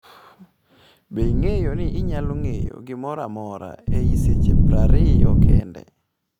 Be ing’eyo ni inyalo ng’eyo gimoro amora ei seche prariyo kende?